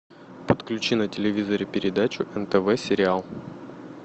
подключи на телевизоре передачу нтв сериал